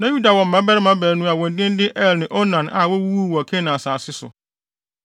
Na Yuda wɔ mmabarima baanu a wɔn din de Er ne Onan a wowuwuu wɔ Kanaan asase so.